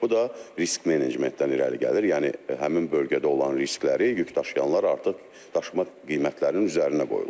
Bu da risk menecmentdən irəli gəlir, yəni həmin bölgədə olan riskləri yük daşıyanlar artıq daşıma qiymətlərinin üzərinə qoyurlar.